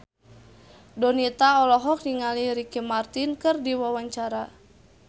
Donita olohok ningali Ricky Martin keur diwawancara